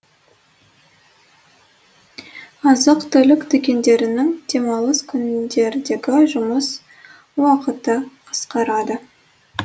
азық түлік дүкендерінің демалыс күндердегі жұмыс уақыты қысқарады